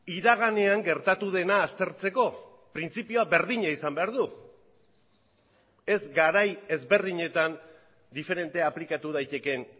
iraganean gertatu dena aztertzeko printzipioa berdina izan behar du ez garai ezberdinetan diferente aplikatu daitekeen